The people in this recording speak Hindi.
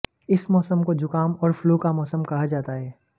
इस मौसम को जुकाम और फ्लू का मौसम कहा जाता है